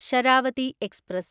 Sharavathi express